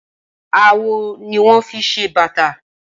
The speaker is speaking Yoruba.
Awọ ni wọ́n fi se bàta.